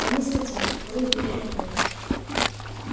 я не скотина которую ведут на убой